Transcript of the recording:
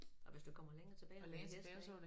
Og hvis du kommer længere tilbage var det en hest ik